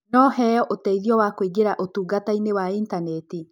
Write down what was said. No heo ũteithio wa kũingĩra ũtungata-inĩ wa intaneti?